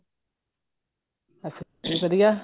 ਅਸੀਂ ਵੀ ਵਧੀਆ